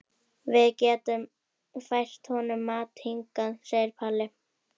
Við getum fært honum mat hingað, segir Palli.